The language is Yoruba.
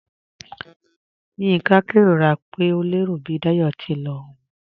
Yinka n kẹrora pe o lẹro bi Dáyọ̀ ti n lọ ọ̀un.